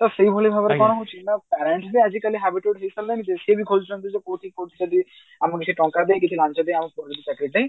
ତ ସେଇ ଭଳି ଭାବରେ କଣ ହଉଛି ନା parents ବି ଆଜିକାଲି habited ହେଇ ସାରିଲେଣି ଯେ ସିଏବି ଖୋଜୁଛନ୍ତି କୋଉଠି କି କୋଉଠି ଯଦି ଆମେ କିଛି ଟଙ୍କା ଦେଇ କିଛି ଲାଞ୍ଚ ଦେଇ ଆମେ ଚାକିରି